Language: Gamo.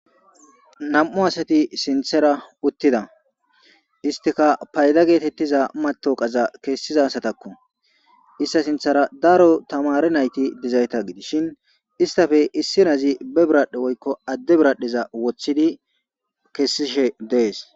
Nam'u asati sinththera uuttida istikka fayda gettetiza matawoqaza kessiza asatakko ista sinththar daro tamaare naytta gidishin istappe issanazi be biradhe woykko adde biradhdheza wooththidi kesishe dees